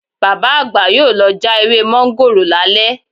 Bàbá àgbà yóò lọ já ewé mọ́ńgòrò lálẹ́